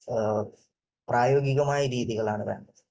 പ്രായോഗികമായ രീതികളാണ് വേണ്ടത്.